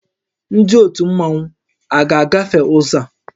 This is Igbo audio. Ndị ótù Mmanwu a ga-agafe ụzọ a?